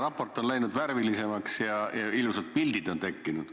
Raport on läinud värvilisemaks ja ilusad pildid on tekkinud.